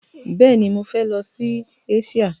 Bẹ́ẹ̀ni, mọ fẹ lọ sí Eṣíà.